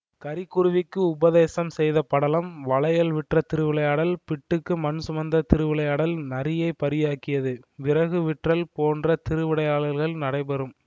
கரிக்குருவிக்கு உபதேசம் செய்த படலம் வளையல் விற்ற திருவிளையாடல் பிட்டுக்கு மண் சுமந்த திருவிளையாடல் நரியைப் பரியாக்கியது விறகு விற்றல் போன்ற திருவிளையாடல்கள் நடைபெறும்